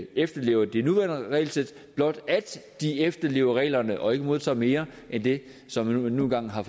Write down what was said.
efterlever det nuværende regelsæt blot de efterlever reglerne og ikke modtager mere end det som man nu engang har